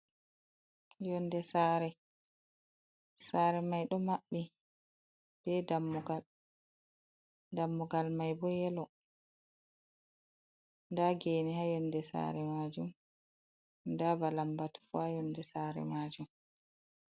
Yonde saare, saare mai ɗo maɓɓi be dammugal, dammugal mai bo yelo. Nda gene ha yonde sare majum nda ba lambatu bo ha yonde saare majum.